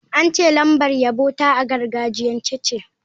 An ce lambar yabo ta a gargajiyance ce.